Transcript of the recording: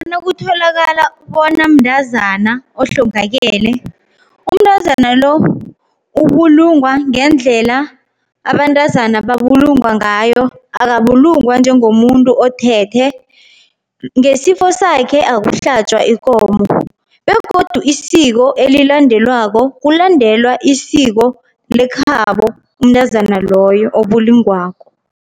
Nakutholakala bona mntazana ohlongakele. Umntazana lo ubulungwa ngendlela abantazana babulungwa ngayo, akabulungwa njengomuntu othethe. Ngesifo sakhe akuhlatjwa ikomo begodu isiko elilandelwako, kulandelwa isiko lekhabo umntazana loyo obulungwako.